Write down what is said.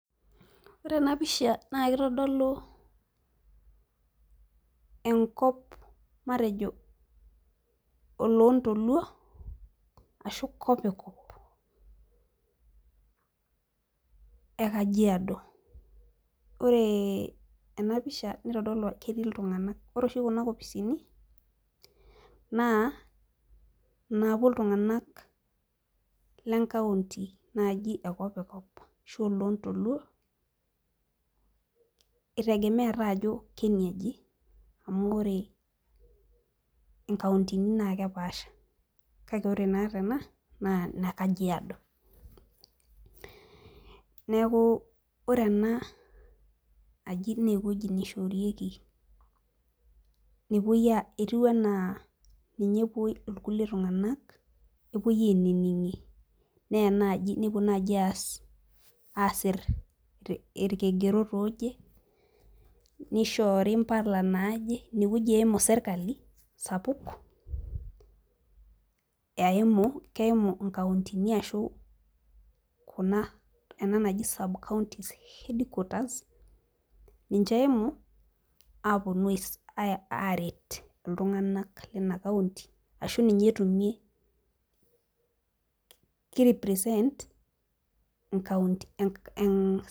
Ore ena pisha naa kitodolu enkop, matejo oloontoluo ashy kopikop e kajiado. ore ena pisha naitodolu ketii iltunganak. ore oshi Kuna kopisini naa inaapuo iltunganak le nkaunti, naaji ekopikop ashu oloontoluo, itegemea taa ajo keniaji, amu ore inkauntini naa ekepaasha kake ore naa tena naa ine kajiado. neeku ore ena aji naa ewueji neishorieki etiu anaa ninye epuoi irkulie tunganak epuoi ainining'ie naa ena aji, nepuo naaji aasie ilikigerot ooje, naishoori mpala naaje. ine wueji eimu sirkali sapuk, eimu keimu nkauntini ashu Kuna ena naji subcountys head quarters ninche. Eimu aaret iltunganak leina kaunti ashu ninye etumie .ki represent enkaunti.